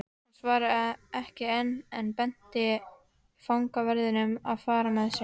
Hann svaraði ekki en benti fangaverðinum að fara með mig.